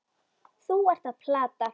Þú ert að plata.